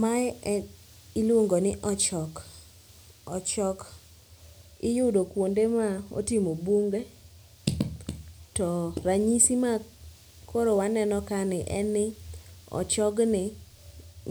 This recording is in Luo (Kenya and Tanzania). Mae en iluongo ni ochok, ochok iyudo kuonde ma otimo bunge to ranyisi makoro waneno kani en ni ochogni